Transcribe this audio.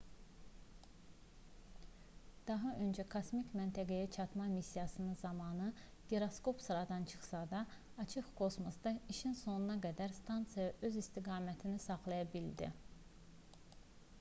daha öncə kosmik məntəqəyə çatma missiyası zamanı giroskop sıradan çıxsa da açıq kosmosda işin sonuna qədər stansiya öz istiqamətini saxlaya bildi